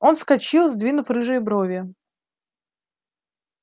он вскочил сдвинув рыжие брови